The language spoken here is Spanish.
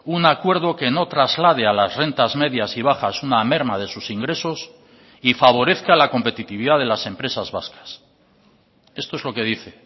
un acuerdo que no traslade a las rentas medias y bajas una merma de sus ingresos y favorezca la competitividad de las empresas vascas esto es lo que dice